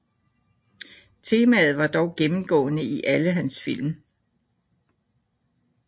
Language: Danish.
Temaet er dog gennemgående i alle hans film